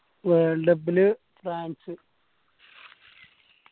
world cup ല് France